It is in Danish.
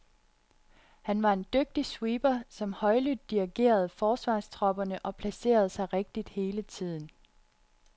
Han var en dygtig sweeper, som højlydt dirigerede forsvarstropperne, og placerede sig rigtigt hele tiden.